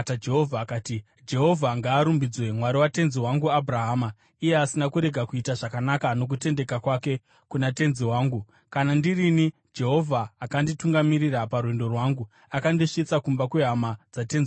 akati, “Jehovha ngaarumbidzwe, Mwari watenzi wangu Abhurahama, iye asina kurega kuita zvakanaka nokutendeka kwake kuna tenzi wangu. Kana ndirini, Jehovha akanditungamirira parwendo rwangu akandisvitsa kumba kwehama dzatenzi wangu.”